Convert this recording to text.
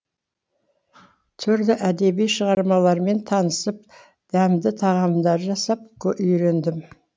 түрлі әдеби шығармалармен танысып дәмді тағамдар жасап үйрендім